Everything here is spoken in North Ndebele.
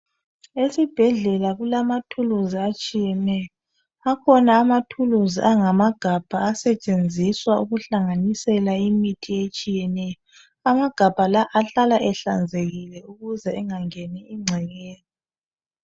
Esibhedlela kumathulusi atshiyeneyo. Akhona amathulusi angamagabha asetshenziswa ukuhlanganisela imithi etshiyeneyo. Amagabha la ahlala ehlanzekile ukuze engangeni incekeza.